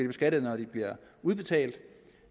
beskattet når de bliver udbetalt